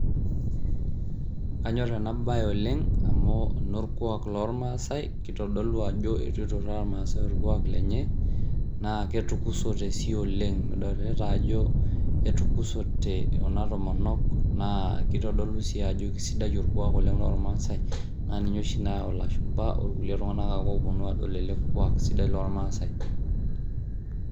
Kanyor ena baye oleng' amu eno orkuak lormaasai kitodolu ajo itu ituraa irmaaasai orkuak lenye naa ketukusote sii oleng', midolita ajo ketukusote kuna tomonok naa kitodolu sii ajo kesidai orkuak oleng' lormaasai naa ninye oshi layau ilashumba orkulie tung'anak ake looponu aadol ele kuak sidai lormaasai.